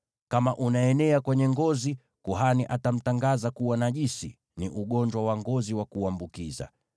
Kama unaenea kwenye ngozi, kuhani atamtangaza kuwa najisi; ni ugonjwa wa ngozi wa kuambukiza.